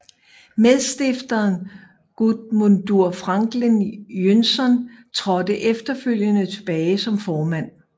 Medstifteren Guðmundur Franklín Jónsson trådte efterfølgede tilbage som formand